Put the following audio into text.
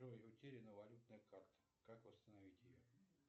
джой утеряна валютная карта как восстановить ее